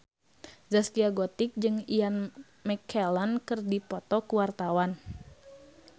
Zaskia Gotik jeung Ian McKellen keur dipoto ku wartawan